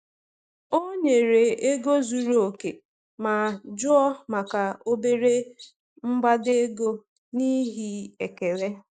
O nyere ego zuru oke ma jụọ maka obere mgbada ego n’ihi ekele.